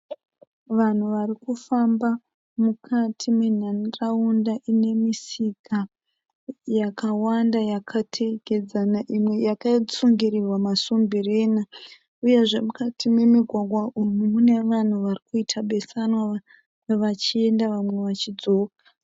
Vanhu vari kufambi mukati menharaunda ine misika yakawanda yakateedzana imwe yakasungirirwa masumbirena uyezve mukati memigwagwa umu mune vanhu vari kuita besanwa vamwe vachienda vamwe vachidzoka.